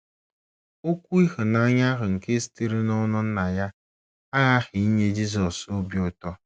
Okwu ịhụnanya ahụ nke sitere n’ọnụ Nna ya aghaghị inye Jizọs obi ụtọ.